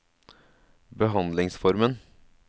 behandlingsformen